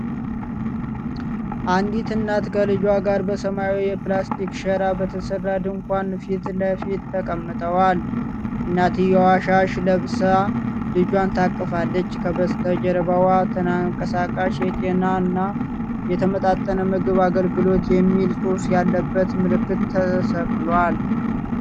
አንዲት እናት ከልጇ ጋር በሰማያዊ የፕላስቲክ ሸራ በተሠራ ድንኳን ፊት ለፊት ተቀምጠዋል። እናትየው ሻሽ ለብሳ ልጇን ታቅፋለች። ከበስተጀርባው፣ "ተንቀሳቃሽ የጤናና የተመጣጠነ ምግብ አገልግሎት ..." የሚል ፅሁፍ ያለበት ምልክት ተሰቅሏል።